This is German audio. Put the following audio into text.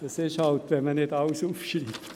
So ist es halt, wenn man nicht alles aufschreibt.